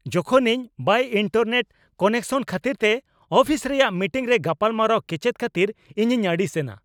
ᱡᱚᱠᱷᱚᱱ ᱤᱧ ᱵᱟᱹᱭ ᱤᱱᱴᱟᱨᱱᱮᱴ ᱠᱟᱱᱮᱠᱥᱚᱱ ᱠᱷᱟᱹᱛᱤᱨᱛᱮ ᱚᱯᱷᱤᱥ ᱨᱮᱭᱟᱜ ᱢᱤᱴᱤᱝᱨᱮ ᱜᱟᱯᱟᱞᱢᱟᱨᱟᱣ ᱠᱮᱪᱮᱫ ᱠᱷᱟᱹᱛᱤᱨ ᱤᱧᱤᱧ ᱟᱹᱲᱤᱥ ᱮᱱᱟ ᱾